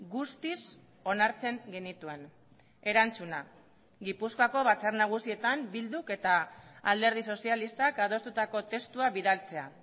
guztiz onartzen genituen erantzuna gipuzkoako batzar nagusietan bilduk eta alderdi sozialistak adostutako testua bidaltzea